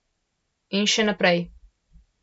In še naprej.